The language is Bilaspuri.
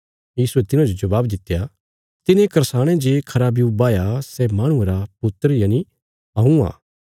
यीशुये तिन्हांजो जबाब दित्या तिने करसाणे जे खरा ब्यू बाहया सै माहणुये रा पुत्र यनि हऊँ आ